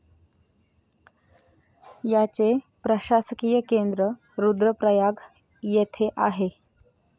याचे प्रशासकीय केंद्र रुद्रप्रयाग येथे आहे.